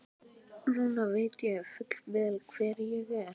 Núna veit ég fullvel hver ég er.